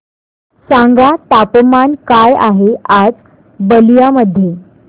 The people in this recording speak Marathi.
सांगा तापमान काय आहे आज बलिया मध्ये